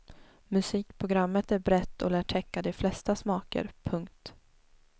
Musikprogrammet är brett och lär täcka de flesta smaker. punkt